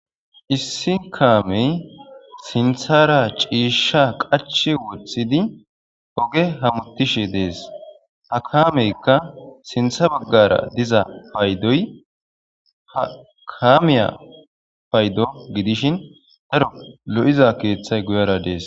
issi kaamey sinthara ciishsha qach wothidi oge hamutishi dees ha kaameykka sintha baggara diza paydoy ha kamiya paydo gidishin daro lo'iza keeththay guyara dees